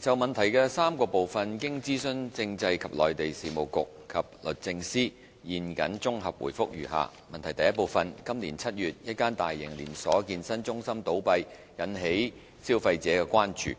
就質詢的3部分，經諮詢政制及內地事務局及律政司，現謹綜合答覆如下：一今年7月，一間大型連鎖健身中心倒閉，引起消費者關注。